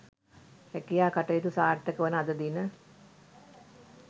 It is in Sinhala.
රැකියා කටයුතු සාර්ථක වන අද දින